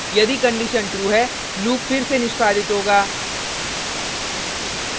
यदि condition true है loop फिर से निष्पादित होगा